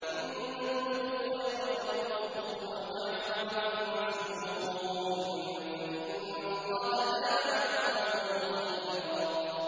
إِن تُبْدُوا خَيْرًا أَوْ تُخْفُوهُ أَوْ تَعْفُوا عَن سُوءٍ فَإِنَّ اللَّهَ كَانَ عَفُوًّا قَدِيرًا